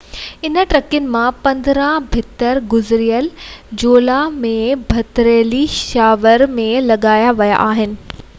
انهن ٽڪرين مان 15 پٿر گذريل جولاءِ ۾ پٿريلي شاور ۾ لڳايا ويا آهن